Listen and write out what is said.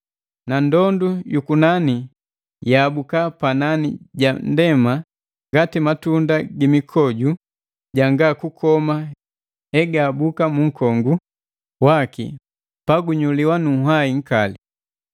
na ndondu yukunani yaabuka panani ja ndema ngati matunda gi mikoju janga kukoma hegahabuka mu nkongu waki pagunyuliwa nu nhwai nkali.